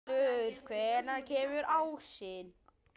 Ylur, hvenær kemur ásinn?